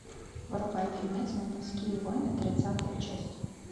врубай фильмец ментовские войны тридцатая часть